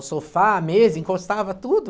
O sofá, a mesa, encostava tudo.